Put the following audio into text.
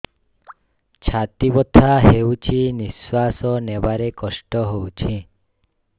ଛାତି ବଥା ହଉଚି ନିଶ୍ୱାସ ନେବାରେ କଷ୍ଟ ହଉଚି